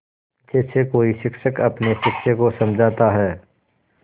जैसे कोई शिक्षक अपने शिष्य को समझाता है